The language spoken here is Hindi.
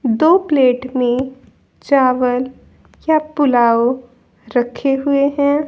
दो प्लेट में चावल या पुलाव रखे हुए हैं।